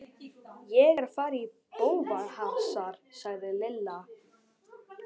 Ég er að fara í bófahasar sagði Lilla.